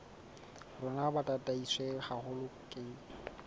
rona bo tataiswe haholo ke